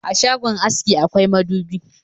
A shagon aske akwai madubi